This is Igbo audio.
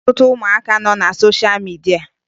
Ị ga-ahụ ọtụtụ ụmụaka nọ na sosha midia